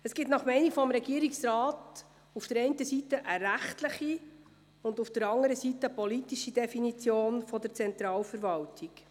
Der Regierungsrat ist der Meinung, es gebe auf der einen Seite eine rechtliche und auf der anderen Seite eine politische Definition der Zentralverwaltung.